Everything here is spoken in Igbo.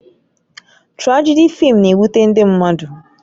Trajedị fịịm na-ewute ndị mmadụ